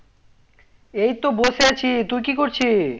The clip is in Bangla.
এই তো বসে আছি তুই কি করছি